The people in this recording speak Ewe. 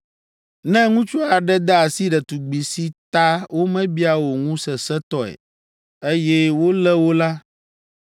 Ne ŋutsu aɖe de asi ɖetugbi si ta womebia o ŋu sesẽtɔe, eye wolé wo la,